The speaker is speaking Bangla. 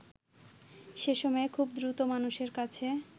সেসময়ে খুব দ্রুত মানুষের কাছে